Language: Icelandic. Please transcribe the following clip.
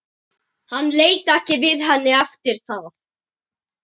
Hann leit ekki við henni eftir það.